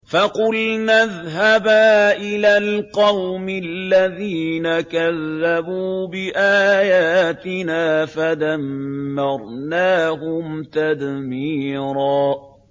فَقُلْنَا اذْهَبَا إِلَى الْقَوْمِ الَّذِينَ كَذَّبُوا بِآيَاتِنَا فَدَمَّرْنَاهُمْ تَدْمِيرًا